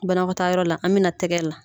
Banakɔtaa yɔrɔ la an bɛ na tɛgɛ la.